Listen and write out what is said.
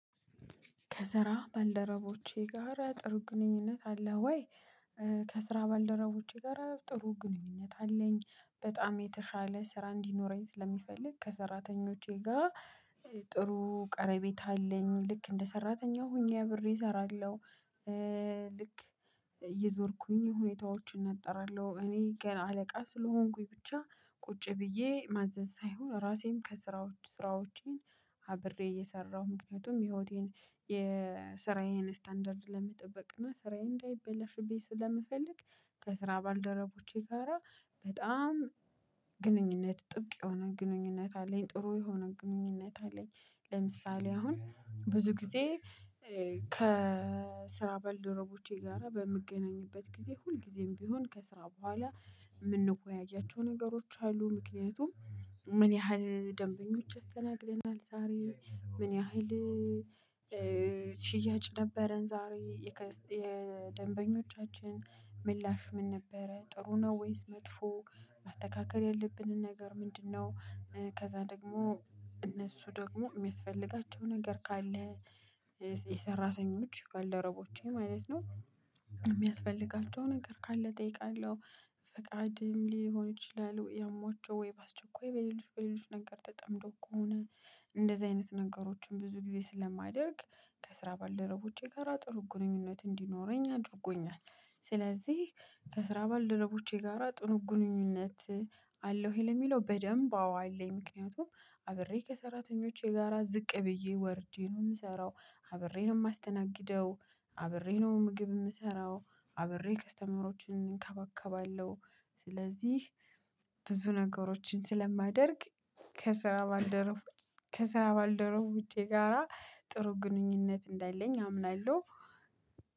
ከስራ ባልደረቦቼ ጋር ጥሩ ግንኙነት አለ ወይ? ከስራ ባልደረቦቼ ጋራ ጥሩ ግንኙነት አለኝ በጣም የተሻለ ስራ እንዲኖረኝ ስለሚፈልግ ከሰራተኞቼ ጋ ጥሩ ቀረቤት አለኝ ልክ እንደ ሰራተኛ ሆኜ አብሬ እሰራለሁ። ልክ እየዞርኩኝ ሁኔታዎችን እጣራለሁ እኔ ገና አለቃ ስለሆንኩኝ ብቻ ቁጭ ብዬ ማዘዝ ሳይሆን ራሴም ከስራዎች ስራዎቼን አብሬ እየሰራሁ ምክንያቱም ህይወቴን ስታንዳርድ ለመጠበቅ እና ስራዬ እንዳይበላሽብኝ ስለምፈልግ። ከስራ ባልደረቦቼ ጋራ በጣም ግንኙነት ጥብቅ የሆነ ግንኙነት አለኝ ጥሩ የሆነ ግንኙነት አለኝ። ለምሳሌ አሁን ብዙ ጊዜ። ከስራ በል ደረቦቼ ጋራ በምገናኝበት ጊዜ ሁልጊዜም ቢሆን ከስራ በኋላ። ምንወያያቸው ነገሮች አሉ። ምክንያቱም ምን ያህል ደንበኞች አስተናግደናል ዛሬ? ምን ያህል ሽያጭ ነበረን? ዛሬ የደንበኞቻችን ምላሽ ምን ነበረ ጥሩ ነው ወይስ መጥፎ? ማስተካከል ያለብንን ነገር ምንድነው? ከዛ ደግሞ እነሱ ደግሞ ሚያስፈልጋቸው ነገር ካለ የሰራተኞች ባልደረቦቼ ማለት ነው። ሚያስፈልጋቸው ነገር ካለ እጠይቃለሁ። ፍቃድም ሊሆኑ ይችላል ወይ አሟቸው ወይ ባስቸኳይ በሌሎች በሌሎች ነገር ተጠምደው ከሆነ። እንደዚህ አይነት ነገሮችን ብዙ ጊዜ ስለማደርግ ከስራ ባልደረቦቼ ጋራ ጥሩ ግንኙነት እንዲኖረኝ አድርጎኛል። ስለዚህ ከስራ ባልደረቦቼ ጋራ ጥሩ ግንኙነት አለው ወይ ለሚለው በደንብ አወ አለኝ። ምክንያቱም አብሬ ከሰራተኞቼ ጋራ ዝቅ ብዬ ወርጀ ነው ምሰራው። አብሬ ነው ማስተናግደው። አብሬ ነው ምግብ ምሰራው። አብሬ ከስተመሮችን እንከባከባለሁ። ስለዚህ ብዙ ነገሮችን ስለማደርግ ከስራ ባልደረቡ ከስራ ባልደረቦቸ ጋራ ጥሩ ግንኙነት እንዳለኝ አምናለሁ